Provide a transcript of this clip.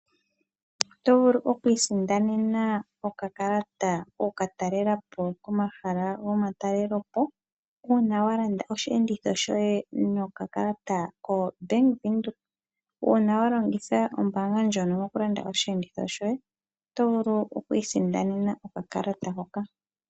Oto vulu okwiisindanena okakalata kokukatelala po komala gomatelopo uuna wa Landa oosheenditho shoye nokakalata koye ko bank Windhoek uuna wa Landa osheenditho shoye oto vulu okwiisindanena okakalata hoka.